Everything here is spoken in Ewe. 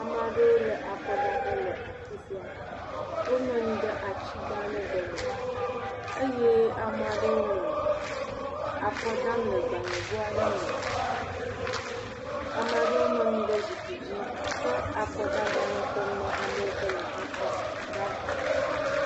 Ame aɖewo le akɔdaƒe le afisia. Wonɔ anyi ɖe ati gã aɖe gɔme eye ame aɖewo nɔ akɔ dam le gbalẽ go aɖe me, ame aɖewo nɔ anyi ɖe zikpui dzi ke wò akɔdagbalẽ kpɔm ne ame yike wole akɔ dam